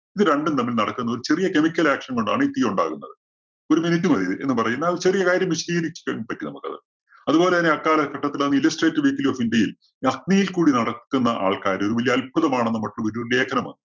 ഇത് രണ്ടും തമ്മില്‍ നടക്കുന്ന ഒരു ചെറിയ chemical action കൊണ്ടാണ് ഈ തീ ഉണ്ടാകുന്നത്. ഒരു minute മതി എന്ന് പറയുന്ന ആ ചെറിയ കാര്യം വിശദീകരിക്കാന്‍ പറ്റും നമുക്കത്. അതുപോലെതന്നെ അക്കാലത്ത് Illustrate weekly of india യിൽ ഈ അഗ്നിയിൽ കൂടി നടക്കുന്ന ആൾക്കാര് ഒരു വലിയ അത്ഭുതമാണ് ലേഖനം വന്നു.